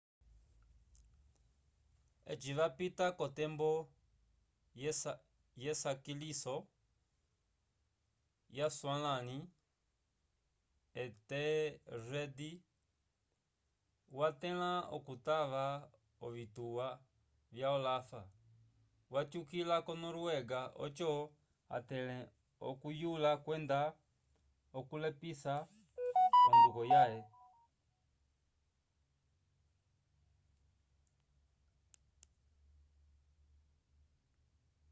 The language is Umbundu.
eci vapita k'otembo yesakaliso yaswalãli ethelred watẽla okutava ovituwa vya olaf watyukila ko-noruega oco atẽle okuyula kwenda okulepisa onduko yãhe